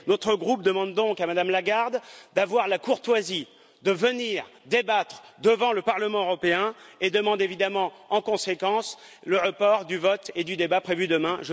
Notre groupe demande donc à Mme Lagarde d'avoir la courtoisie de venir débattre devant le Parlement européen et demande évidemment, en conséquence, le report du vote et du débat prévus demain.